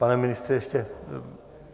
Pane ministře, ještě...